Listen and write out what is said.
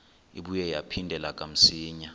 ibuye yaphindela kamsinya